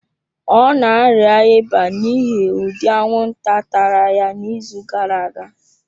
Ọ na-arịa ịba n'ihi ụdị anwụnta tara ya n'izu gara aga.